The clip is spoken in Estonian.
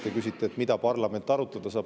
Te küsisite, mida saab parlament arutada.